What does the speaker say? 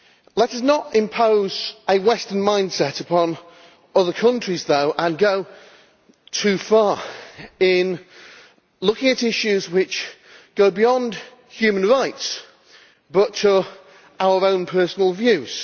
Let us not impose a Western mindset upon other the countries, though, and go too far in looking at issues which go beyond human rights, but to our own personal views